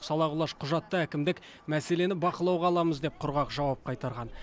сала құлаш құжатта әкімдік мәселені бақылауға аламыз деп құрғақ жауап қайтарған